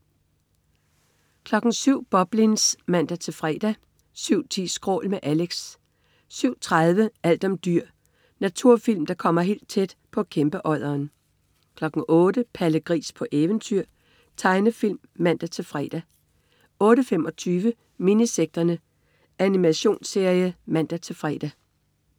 07.00 Boblins (man-fre) 07.10 Skrål. Med Alex 07.30 Alt om dyr. Naturfilm, der kommer helt tæt på kæmpeodderen 08.00 Palle Gris på eventyr. Tegnefilm (man-fre) 08.25 Minisekterne. Animationsserie (man-fre)